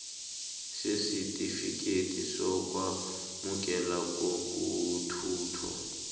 sesitifikethi sokwamukeleka kokuthuthwa